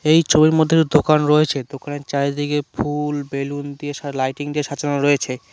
এই ছবির মধ্যে দু দোকান রয়েছে দোকানের চারিদিকে ফুল বেলুন দিয়ে সা লাইটিং দিয়ে সাজানো রয়েছে।